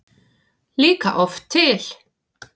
líka oft til.